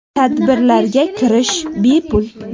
Tadbirlarga kirish bepul.